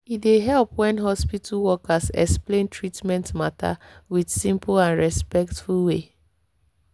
e dey help when hospital workers explain treatment matter with simple and respectful way.